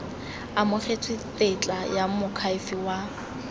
amogetswe tetla ya moakhaefe wa